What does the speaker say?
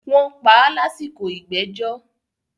wọ́n pa á lásìkò “ ìgbẹ́jọ́”.